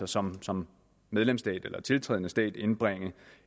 som som medlemsstat eller tiltrædende stat altså indbringe